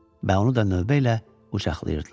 və onu da növbə ilə qucaqlayırdılar.